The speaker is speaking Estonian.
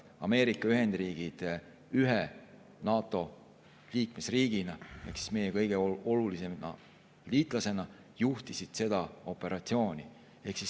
Ameerika Ühendriigid ühe NATO liikmesriigina, meie kõige olulisema liitlasena juhtis seda operatsiooni.